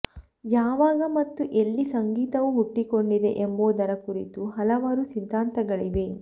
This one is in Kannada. ಯಾವಾಗ ಮತ್ತು ಎಲ್ಲಿ ಸಂಗೀತವು ಹುಟ್ಟಿಕೊಂಡಿದೆ ಎಂಬುದರ ಕುರಿತು ಹಲವಾರು ಸಿದ್ಧಾಂತಗಳಿವೆ